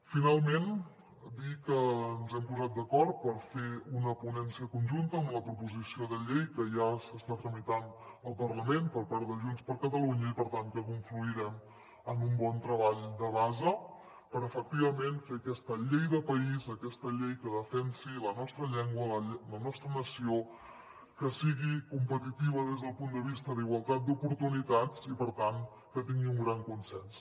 finalment dir que ens hem posat d’acord per fer una ponència conjunta en la proposició de llei que ja s’està tramitant al parlament per part de junts per catalunya i per tant que confluirem en un bon treball de base per efectivament fer aquesta llei de país aquesta llei que defensi la nostra llengua la nostra nació que sigui competitiva des del punt de vista d’igualtat d’oportunitats i per tant que tingui un gran consens